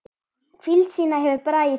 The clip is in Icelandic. Hvíld sína hefur Bragi fengið.